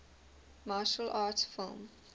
martial arts film